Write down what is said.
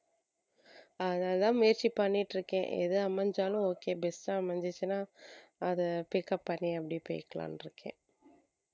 அதனாலதான் முயற்சி பண்ணிட்டு இருக்கேன் எது அமைஞ்சாலும் okay best ஆ அமைஞ்சிச்சுன்னா அதை pick up பண்ணி அப்படியே போயிக்கலாம்ன்னு இருக்கேன்